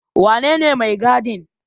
Wanene mai gadin?